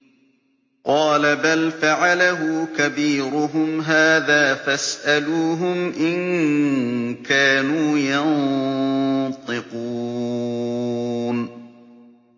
قَالَ بَلْ فَعَلَهُ كَبِيرُهُمْ هَٰذَا فَاسْأَلُوهُمْ إِن كَانُوا يَنطِقُونَ